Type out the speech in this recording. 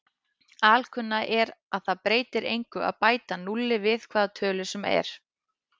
Alkunna er að það breytir engu að bæta núlli við hvaða tölu sem er.